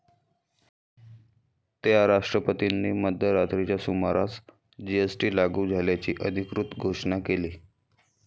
त्या राष्ट्रपतींनी मध्यरात्रीच्या सुमारास जीएसटी लागू झाल्याची अधिकृत घोषणा केली.